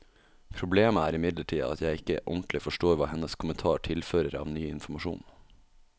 Problemet er imidlertid at jeg ikke ordentlig forstår hva hennes kommentar tilfører av ny informasjon.